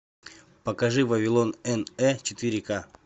покажи вавилон н э четыре ка